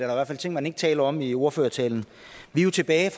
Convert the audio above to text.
er ting man ikke taler om i ordførertalen vi er jo tilbage